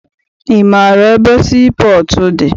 Ị maara ebe sii pọọtụ dị?